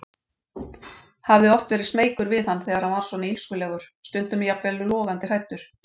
Hafði oft verið smeykur við hann þegar hann var svona illskulegur, stundum jafnvel logandi hræddur.